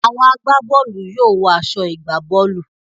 Àwọn agbá bọ́ọ̀lù yóò wọ aṣọ ìwọ̀-gbá-bọ́ọ̀lù.